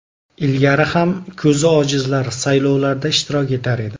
Ilgari ham ko‘zi ojizlar saylovlarda ishtirok etar edi.